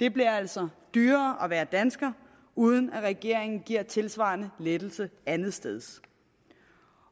det bliver altså dyrere at være dansker uden at regeringen giver en tilsvarende lettelse et andet sted